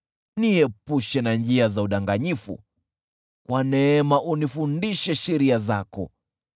Niepushe na njia za udanganyifu, kwa neema unifundishe sheria zako.